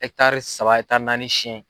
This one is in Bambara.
saba naani siyɛn.